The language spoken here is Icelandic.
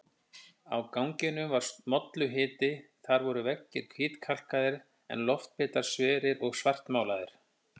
Á ganginum var molluhiti, þar voru veggir hvítkalkaðir en loftbitar sverir og svartmálaðir.